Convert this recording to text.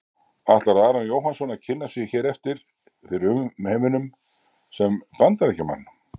Ætlar Aron Jóhannsson að kynna sig hér eftir fyrir umheiminum sem Bandaríkjamann?